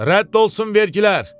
Rədd olsun vergilər!